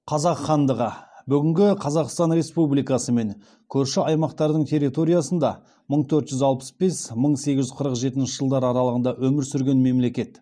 қазақ хандығы бүгінгі қазақстан республикасы мен көрші аймақтардың территориясында мың төрт жүз алпыс бес мың сегіз жүз қырық жетінші жылдар аралығында өмір сүрген мемлекет